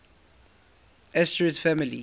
asterid families